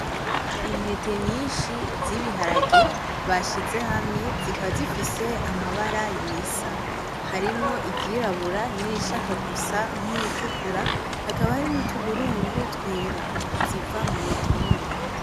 Intete nyinshi zibiharage bashize hamwe, zikaba zifise amabara yisa ,harimwo iryirabura n'irishaka gusa n'iritukura hakaba hari n'utuburungu twera ,ziva mumitonore.